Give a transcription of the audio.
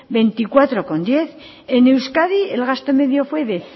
veinticuatro coma diez en euskadi el gasto medio fue de